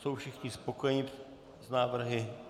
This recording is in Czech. Jsou všichni spokojeni s návrhy?